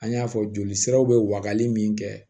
An y'a fɔ joli siraw be wagali min kɛ